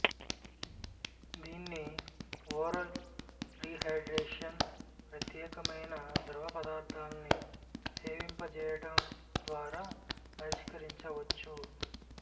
దీన్ని oral rehydration ప్రత్యేకమైన ద్రవపదార్థాల్ని సేవింపజేయడం ద్వారా పరిష్కరించవచ్చు